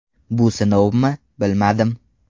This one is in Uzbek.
Bu sinovmi, bilmadim.